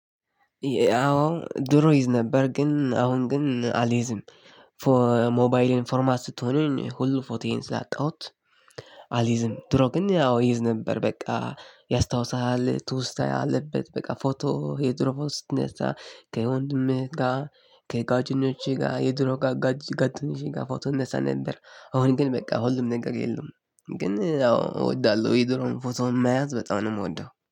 ያው ድሮ ይዝ ነበር ግን አሁን ግን አልይዝም ፎር ሞባይልን ፎርማት ስትሆነኝ ሁሉም ፎቶየን ስላጣሁት። አልይዝም ድሮ ግን ያው ይዝ ነበር በቃ ያስታውሳሃል ትውስታ ያለበት በቃ ፎቶ የድሮ ፎቶ ስትነሳ ከየወንድምህ ጋር ከጎደኞቼ ጋር የድሮ ጋደኞቼ ጋር ፎቶ እነሳ ነበር። አሁን ግን በቃ ሁሉም ነገር የሉም። ግን አዎ እወዳለሁ የድሮን ፎቶ የማያዝ በጣም ነው የምወደው